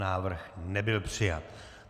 Návrh nebyl přijat.